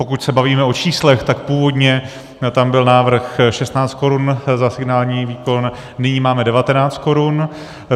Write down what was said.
Pokud se bavíme o číslech, tak původně tam byl návrh 16 korun za signální výkon, nyní máme 19 korun.